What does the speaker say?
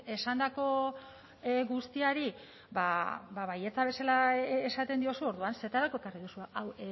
esandako guztiari baietza bezala esaten diozu orduan zertarako ekarri duzu hau